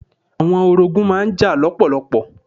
Àwọn orogún má n jà lọ́pọ̀lọpọ̀.